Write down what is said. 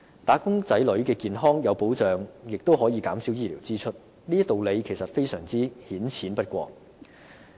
"打工仔女"的健康有保障亦可以減少醫療支出，這道理顯淺不過。